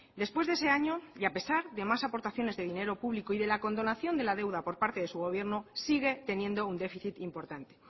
después de ese año y a pesar de más aportaciones de dinero público y de la condonación de la deuda por parte de su gobierno sigue teniendo un déficit importante